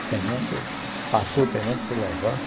O tenente, passou o tenente, se levanta.